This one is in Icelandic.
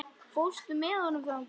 Fórstu með honum þangað?